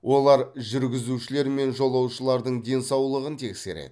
олар жүргізушілер мен жолаушылардың денсаулығын тексереді